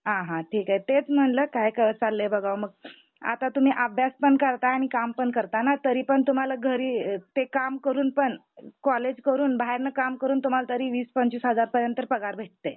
आ हा ठीक आहे तेच म्हणाल काय चाललंय बघावा. आता तुम्ही अभ्यास पण करताय आणि काम पण करताय मग तरी पण तुम्हाला घरी ते काम करून पण कॉलेज करून बाहेरन काम करून तुम्हाला तरी वीस, पंचवीस हजार पर्यंत पगार भेटते.